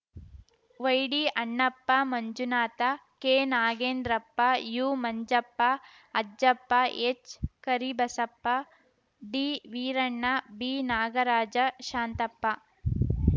ವೈಡಿ Annappa Manjunatha K Nagendrappa you Manjappa Ajjappa H Karibasappa ಡಿವೀರಣ್ಣ B Nagaraja Shantappa